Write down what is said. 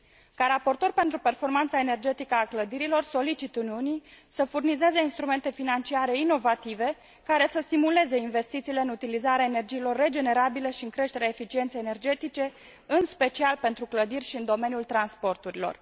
Ca raportor pentru performanța energetică a clădirilor solicit Uniunii să furnizeze instrumente financiare inovative care să stimuleze investițiile în utilizarea energiilor regenerabile și în creșterea eficienței energetice, în special pentru clădiri și în domeniul transporturilor.